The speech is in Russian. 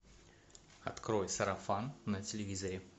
открой сарафан на телевизоре